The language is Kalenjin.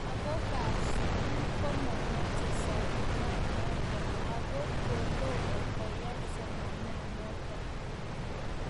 lagookab sugul komamache somananato agot kotomo koyae somananatok